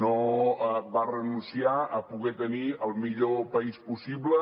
no va renunciar a poder tenir el millor país possible